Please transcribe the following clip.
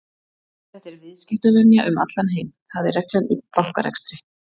Þetta er viðskiptavenja um allan heim, það er reglan í bankarekstri.